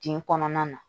Kin kɔnɔna na